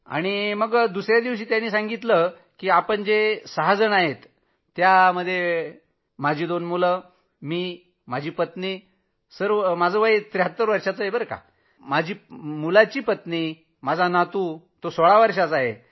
तर दुसऱ्या दिवशी त्यांनी सांगितलं की आपण जे सहाजण आहात माझी दोन मुलं मी माझी पत्नी मी तसाही ७३ वर्षांचा आहे माझ्या मुलाची पत्नी आणि माझा नातू जो सोळा वर्षांचा आहे